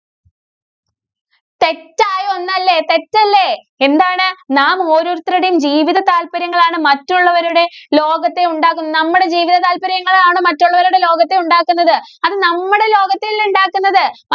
തെറ്റായ ഒന്നല്ലേ? തെറ്റല്ലേ? എന്താണ് നാം ഓരോരുത്തരുടെയും ജീവിത താല്പര്യങ്ങളാണ് മറ്റുള്ളവരുടെ ലോകത്തെ ഉണ്ടാക്കുന്നത്. നമ്മുടെ ജീവിത താല്പര്യങ്ങളാണോ മറ്റുള്ളവരുടെ ലോകത്തെ ഉണ്ടാക്കുന്നത്. അത് നമ്മടെ ലോകത്തെ അല്ലേ ഉണ്ടാക്കുന്നത്.